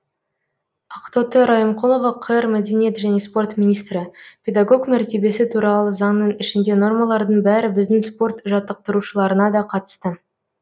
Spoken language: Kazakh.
ақтоты райымқұлова қр мәдениет және спорт министрі педагог мәртебесі туралы заңның ішінде нормалардың бәрі біздің спорт жаттықтырушыларына да қатысты